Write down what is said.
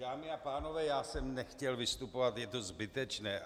Dámy a pánové, já jsem nechtěl vystupovat, je to zbytečné.